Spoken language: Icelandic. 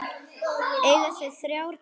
Eiga þau þrjár dætur.